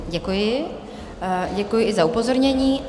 Děkuji, děkuji i za upozornění.